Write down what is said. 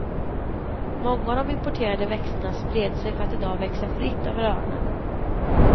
Många av de importerade växterna spred sig för att i dag växa fritt över öarna.